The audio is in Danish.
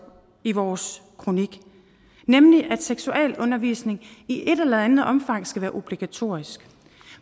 i vores kronik nemlig at seksualundervisning i et eller andet omfang skal være obligatorisk